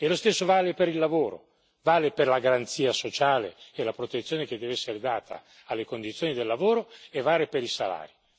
E lo stesso vale per il lavoro, vale per la garanzia sociale e la protezione che deve essere data alle condizioni del lavoro e vale per i salari.